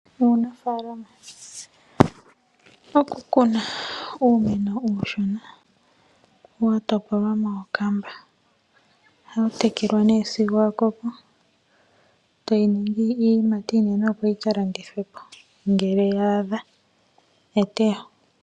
Oku kuna uumeno uushona wa topolwa mookamba oha wu tekelwa nee sigo wa koko e ta wu ningi iiyimati iinene opo yi ka landithwe po ngele ya adha eteyo.